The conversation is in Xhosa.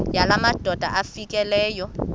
yala madoda amfikeleyo